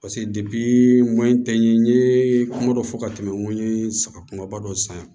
pase n ko n tɛ n ɲe n ye kuma dɔ fɔ ka tɛmɛ n ko ye saga kumaba dɔ san